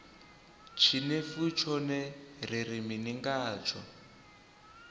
tshinefu tshone ri ri mini ngatsho